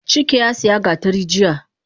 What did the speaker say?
Chike yasiya gatari jiya